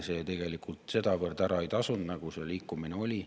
See tegelikult sedavõrd ära ei tasunud, nagu see liikumine oli.